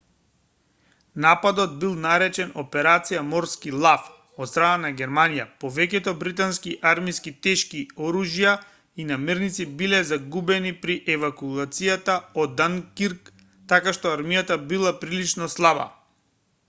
нападот бил наречен операција морски лав од страна на германија повеќето британски армиски тешки оружја и намирници биле загубени при евакуацијата од данкирк така што армијата била прилично слаба